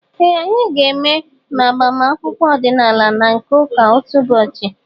Ee, anyị ga-eme ma agbamakwụkwọ ọdịnaala na nke ụka otu ụbọchị